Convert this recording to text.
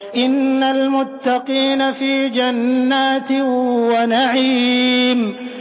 إِنَّ الْمُتَّقِينَ فِي جَنَّاتٍ وَنَعِيمٍ